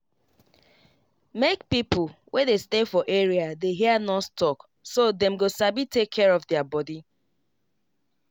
make pipo wey dey stay for area dey hear nurse talk so dem go sabi take care of their body.